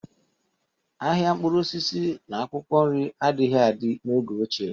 Ahịa mkpụrụ osisi na akwụkwọ nri adịghị adị n'oge ochie